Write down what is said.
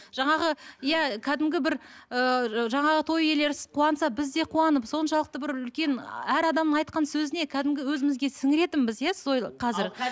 жаңағы иә кәдімгі бір ыыы жаңағы той иелері қуанса біз де қуанып соншалықты бір үлкен әр адамың айтқан сөзіне кәдімгі өзімізге сіңіретінбіз иә қазір